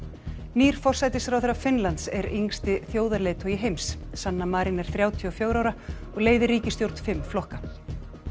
nýr forsætisráðherra Finnlands er yngsti þjóðarleiðtogi heims sanna Marin er þrjátíu og fjögurra ára og leiðir ríkisstjórn fimm flokka